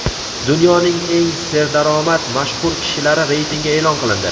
Dunyoning eng serdaromad mashhur kishilari reytingi e’lon qilindi.